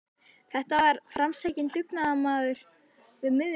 Þetta var framsækinn dugnaðarmaður við miðjan aldur.